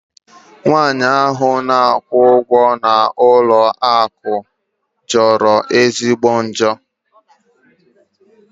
Nwaanyị ahụ na-akwụ ụgwọ n'ụlọ akụ jọrọ ezigbo njọ.